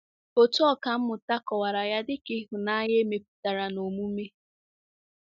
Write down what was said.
Otu ọkà mmụta kọwara ya dị ka “ ịhụnanya e mepụtara n'omume. ”